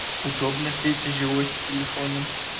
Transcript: удобно пете жилось с телефоном